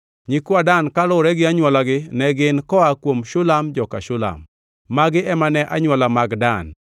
Nyikwa Dan kaluwore gi anywolagi ne gin: koa kuom Shulam, joka Shuham. Magi ema ne anywola mag Dan: